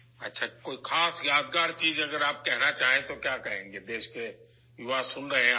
اچھا، اگر آپ کوئی خاص یادگار بات کہنا چاہتی ہیں، تو آپ کیا کہیں گی ؟ ملک کے نوجوان آپ کی بات سن رہے ہیں